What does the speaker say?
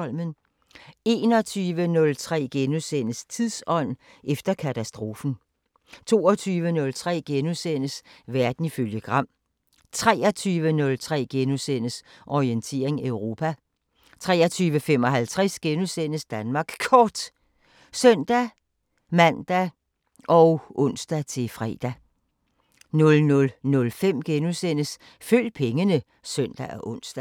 21:03: Tidsånd – efter katastrofen * 22:03: Verden ifølge Gram * 23:03: Orientering Europa * 23:55: Danmark Kort *(søn-man og ons-fre) 00:05: Følg pengene *(søn og ons)